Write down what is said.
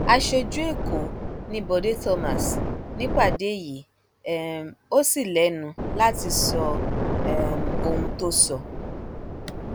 aṣojú ẹkọ ni bọde thomas nípàdé yìí um ò sì lẹnu láti sọ um ohun tó sọ